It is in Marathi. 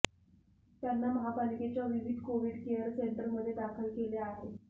त्यांना महापालिकेच्या विविध कोविड केअर सेंटरमध्ये दाखल केले आहे